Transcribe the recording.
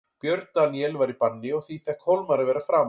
Björn Daníel var í banni og því fékk Hólmar að vera framar.